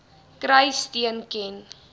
kry steun ken